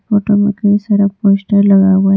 Photo में कई सारा पोस्टर लगा हुआ है।